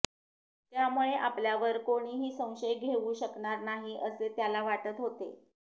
त्यामुळे आपल्यावर कोणीही संशय घेऊ शकणार नाही असे त्याला वाटत होते